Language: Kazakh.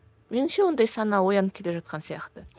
меніңше ондай сана оянып келе жатқан сияқты